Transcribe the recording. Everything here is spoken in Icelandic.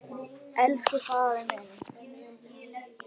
Elsku faðir minn.